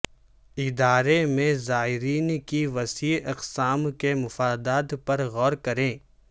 ادارے میں زائرین کی وسیع اقسام کے مفادات پر غور کریں